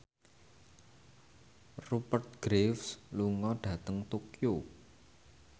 Rupert Graves lunga dhateng Tokyo